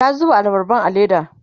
ya zuba abarban a leda